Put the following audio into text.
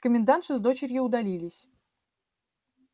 комендантша с дочерью удалились